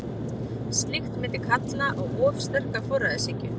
Slíkt myndi líklega kalla á of sterka forræðishyggju.